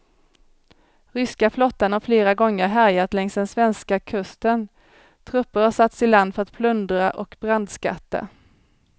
Ryska flottan har flera gånger härjat längs den svenska kusten, trupper har satts i land för att plundra och brandskatta.